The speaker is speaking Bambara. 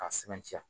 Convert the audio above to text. K'a sɛbɛntiya